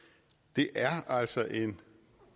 det er altså en